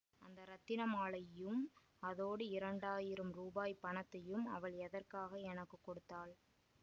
அந்த ரத்தின மாலையையும் அதோடு இரண்டாயிரம் ரூபாய் பணத்தையும் அவள் எதற்காக எனக்கு கொடுத்தாள்